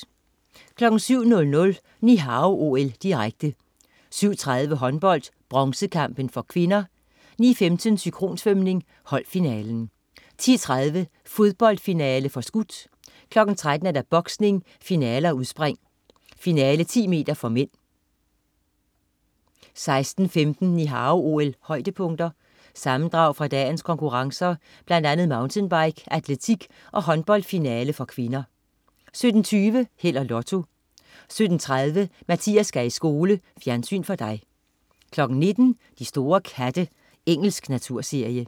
07.00 Ni Hao OL, direkte. 7.30: Håndbold, broncekamp (k). 9.15: Synkronsvømning, holdfinale. 10.30: Fodboldfinale (forskudt). 13.00: Boksning, finaler og udspring, finale 10 m (m) 16.15 Ni Hao OL-højdepunkter. Sammendrag fra dagens konkurrencer, blandt andet mountainbike, atletik og håndboldfinale (k) 17.20 Held og Lotto 17.30 Mathias skal i skole. Fjernsyn for dig 19.00 De store katte. Engelsk naturserie